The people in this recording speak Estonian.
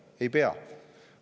Ei pea!